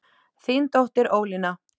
Þín dóttir Ólína.